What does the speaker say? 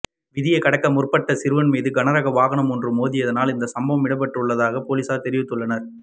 வீதியை கடக்க முற்பட்ட சிறுவன் மீது கனரக வாகனம் ஒன்று மோதியதினால் இந்த சம்பவம் இடம்பெற்றுள்ளதாக பொலிஸார் தெரிவித்துள்ளனர்